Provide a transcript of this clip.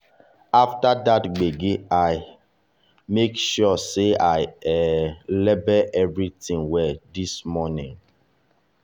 after that gbege i make sure say i um label everything well this morning.